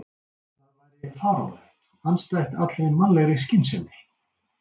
Það væri fáránlegt, andstætt allri mannlegri skynsemi.